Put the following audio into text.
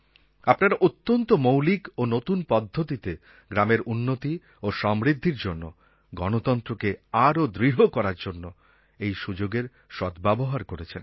আপনারা অত্যন্ত মৌলিক ও নতুন পদ্ধতিতে গ্রামের উন্নতি ও সমৃদ্ধির জন্য গণতন্ত্রকে আরও দৃঢ় করার জন্য এই সুযোগের সদ্ব্যবহার করেছেন